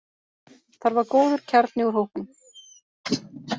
Þar var góður kjarni úr hópnum.